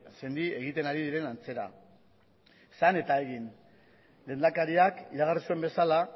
sendi egiten ari diren antzera esan eta egin lehendakariak iragarri zuen bezala